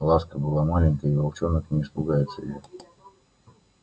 ласка была маленькая и волчонок не испугается её